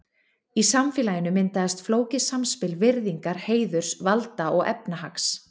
Í samfélaginu myndaðist flókið samspil virðingar, heiðurs, valda og efnahags.